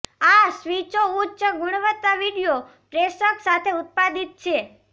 આ સ્વીચો ઉચ્ચ ગુણવત્તા વિડિઓ પ્રેષક સાથે ઉત્પાદિત છે